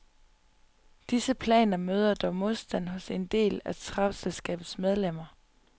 Disse planer møder dog modstand hos en del af travselskabets medlemmer.